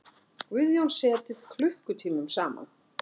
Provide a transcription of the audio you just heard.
Guðjón setið klukkutímum saman.